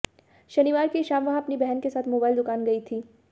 शनिवार की शाम वह अपनी बहन के साथ मोबाइल दुकान गई थी